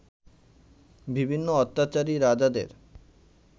বিভিন্ন অত্যাচারী রাজাদের